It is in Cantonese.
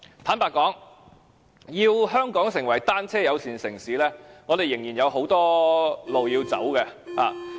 坦白說，要香港成為單車友善城市，我們仍然有很多路要走。